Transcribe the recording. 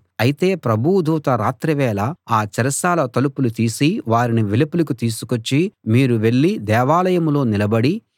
అయితే ప్రభువు దూత రాత్రివేళ ఆ చెరసాల తలుపులు తీసి వారిని వెలుపలికి తీసుకొచ్చి మీరు వెళ్ళి దేవాలయంలో నిలబడి